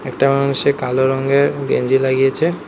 টেমন সে কালো রঙ্গের গেঞ্জি লাগিয়েছে।